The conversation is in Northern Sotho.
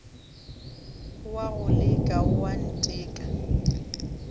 o a go leka oanteka